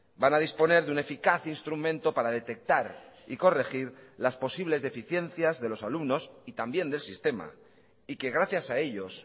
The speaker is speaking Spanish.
van a disponer de un eficaz instrumento para detectar y corregir las posibles deficiencias de los alumnos y también del sistema y que gracias a ellos